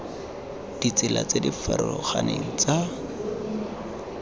ditsela tse di farologaneng tsa